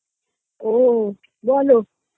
ও বলো